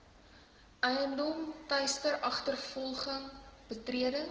eiendom teisteragtervolging betreding